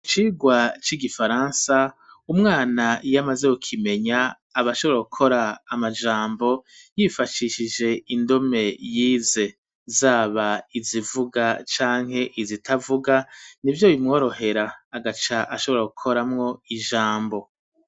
Icigwa c'igifaransa umwana yamaze gukimenya abashobora gukora amajambo yifashishije indome yize zaba izivuga canke izitavuga nivyo bimworohera agaca ashobora gukoramwo ijambo.